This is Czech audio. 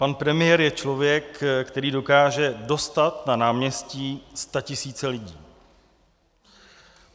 Pan premiér je člověk, který dokáže dostat na náměstí statisíce lidí.